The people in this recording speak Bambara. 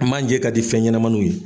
Manjɛ ka di fɛn ɲɛnɛmaniw ye.